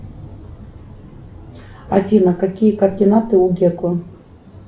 афина какие координаты у гекла